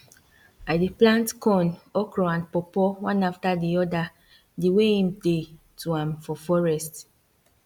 i dey plant corn okra and pawpaw one after the other di way em dey to am for forest